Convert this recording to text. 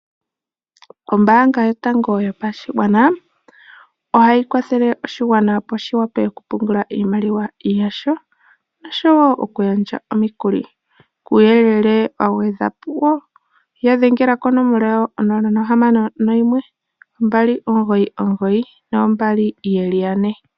Ombaanga yotango yopashigwana ohayi kwathele oshigwana opo shi wape oku pungula iimaliwa yasho oshowo oku gandja omikuli, kuuyelele wa gwedhwa po ya dhengela konomola 0612992222.